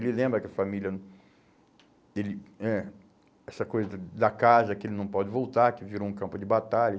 Ele lembra que a família... Ele, é, essa coisa da da casa que ele não pode voltar, que virou um campo de batalha.